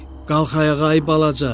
Qalx ayağa ay balaca!